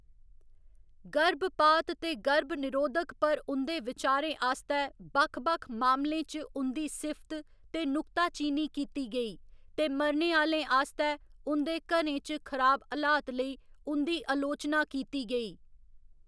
गर्भपात ते गर्भनिरोधक पर उं'दे विचारें आस्तै बक्ख बक्ख मामलें च उं'दी सिफ्त ते नुक्ताचीनी कीती गेई, ते मरने आह्‌‌‌लें आस्तै उं'दे घरें च खराब हलात लेई उं'दी अलोचना कीती गेई।